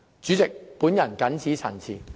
主席，我謹此陳辭。